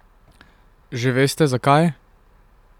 Že veste, zakaj?